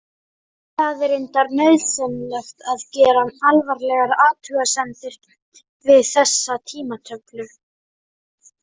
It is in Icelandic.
En það er reyndar nauðsynlegt gera alvarlegar athugasemdir við þessa tímatöflu.